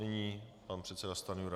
Nyní pan předseda Stanjura.